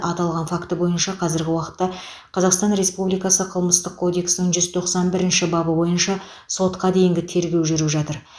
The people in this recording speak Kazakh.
аталған факті бойынша қазіргі уақытта қазақстан республикасы қылмыстық кодексінің жүз тоқсан бірінші бабы бойынша сотқа дейінгі тергеу жүріп жатыр